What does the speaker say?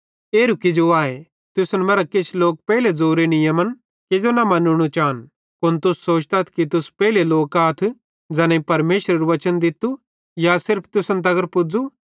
एरू किजो आए तुसन मरां किछ लोक पेइले ज़ोरे नियमन किजो न मन्नू चान कुन तुस सोचतथ कि तुस पेइले लोक आथ ज़ैनेईं परमेशरेरू वचन दित्तू या सिर्फ तुसन दित्तू